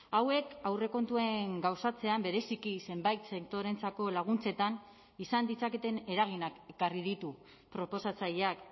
hauek aurrekontuen gauzatzean bereziki zenbait sektoreentzako laguntzetan izan ditzaketen eraginak ekarri ditu proposatzaileak